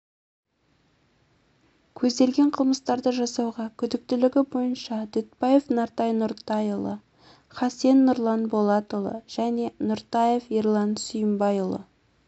көзделген қылмыстарды жасауға күдіктілігі бойынша дүтбаев нартай нұртайұлы хасен нұрлан болатұлы және нұртаев ерлан сүйімбайұлы